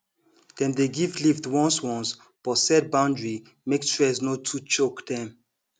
dem dey give lift once once but set boundary make stress no too choke dem